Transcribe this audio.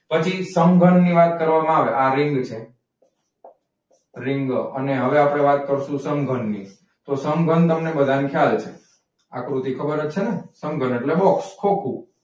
પછી સમઘનની વાત કરવા માં આવે આ રીંગ છે. રીંગ અને હવે આપણે વાત કરીસું સમઘનની. તો સમઘન તમને બધાને ખ્યાલ છે આ કૃતી ખબર જ છેને? સમઘન એટ્લે box ખોખુ.